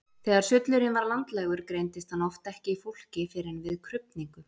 Þegar sullurinn var landlægur greindist hann oft ekki í fólki fyrr en við krufningu.